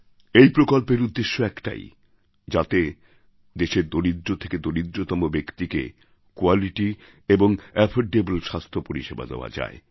এই প্রকল্পের উদ্দেশ্য একটাই যাতে দেশের দরিদ্র থেকে দরিদ্রতম ব্যক্তিকে কোয়ালিটি এবং এফোর্ডেবল স্বাস্থ্য পরিষেবা দেওয়া যায়